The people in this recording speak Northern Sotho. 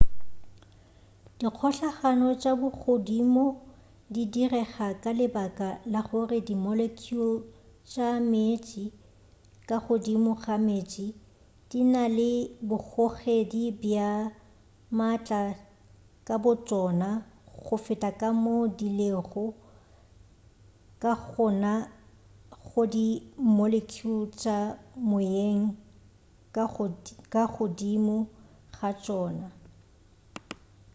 dikgohlano tša bogodimo di direga ka lebaka la gore di molecule tša meetse ka godimo ga meetse di na le bogogedi bja maatla ka botšona go feta ka moo di lego ka gona go di molecule tša moyeng ka godimo ga tšona